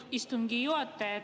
Austatud istungi juhataja!